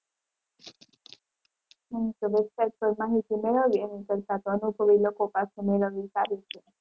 હમ તો website પર માહિતી મેળવવી એના કરતાં તો અનુભવી લોકો પાસે મેળવવી સારી છે.